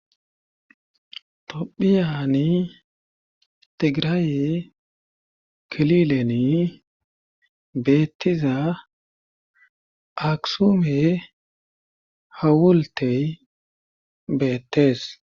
Tophiyani tigiraaye kilileni beettiza aksume hawultey beettees.